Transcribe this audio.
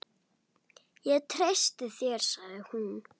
Ég treysti þér sagði hún.